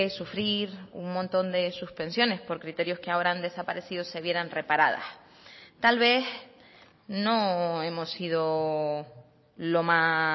sufrir un montón de suspensiones por criterios que ahora han desaparecido se vieran reparadas tal vez no hemos sido lo más